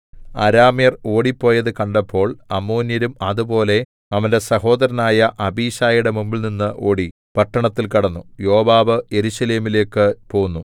അരാമ്യർ ഓടിപ്പോയതു കണ്ടപ്പോൾ അമ്മോന്യരും അതുപോലെ അവന്റെ സഹോദരനായ അബീശായിയുടെ മുമ്പിൽനിന്നു ഓടി പട്ടണത്തിൽ കടന്നു യോവാബ് യെരൂശലേമിലേക്കു പോന്നു